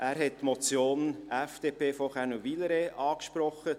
Er hat die Motion FDP, von Kaenel / Wyler angesprochen.